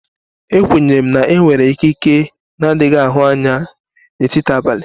E kwenyere na enwere ikike n'adighi ahụ anya na etiti abalị.